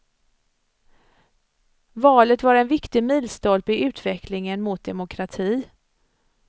Valet var en viktig milstolpe i utvecklingen mot demokrati.